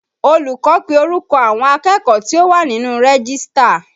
Olùkọ́ pe orúkọ àwọn akẹ́kọ̀ọ́ tí ó wà nínú rẹ́gístà